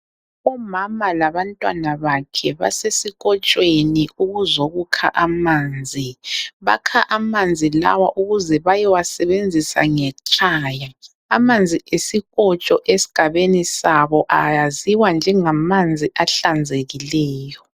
Umama labantwana bakhe basesikotshweni ukuzokukha amanzi. Bakha amanzi lawo ukuze bayowasebenzisa ngekhaya. Amanzi esikotsho esigabeni sabo ayaziwa njengamanzi ahlanzekileyo.